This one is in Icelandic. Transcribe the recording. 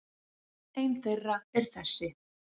Ein þeirra er þessi.